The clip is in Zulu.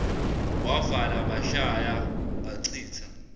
wavala bashaya bachitha